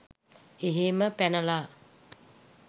එහෙම පැනලා